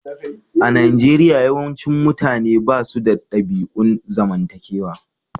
A Nijeriya, yawancin mutane ba su da ɗabi'un zamantakewa.